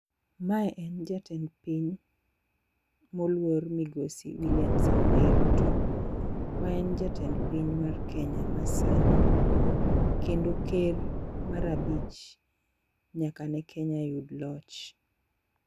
Mae en jatend piny moluor migosi Wiliam Samoei Ruto, ma en jatend piny mar kenya ma sani kendo ker mar abich nyaka ne kenya yud loch.